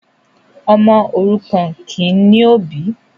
ọmọ òrukàn kìí ní òbì